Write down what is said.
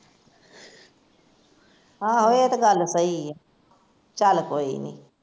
ਆਹੋ ਏਹ ਤੇ ਗੱਲ ਸਹੀ ਐ ਚੱਲ ਕੋਈ ਨੀ